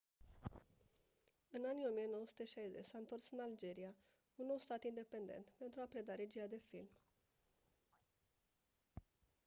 în anii 1960 s-a întors în algeria un nou stat independent pentru a preda regia de film